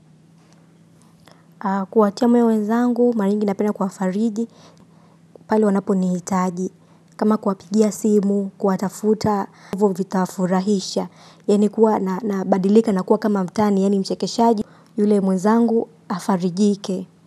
Kuwatia moyo wenzangu, mara nyingi napenda kuwafariji, pale wanaponihitaji. Kama kuwapigia simu, kuwatafuta yaani kuwa nabadilika nakuwa kama mtani, yani mchekeshaji, yule mwenzangu afarijike.